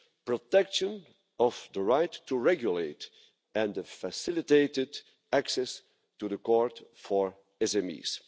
protection of the right to regulate and facilitated access to the court for SMEs.